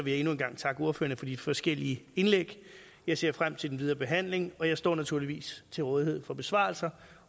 jeg endnu en gang takke ordførerne for de forskellige indlæg jeg ser frem til den videre behandling og jeg står naturligvis til rådighed for besvarelser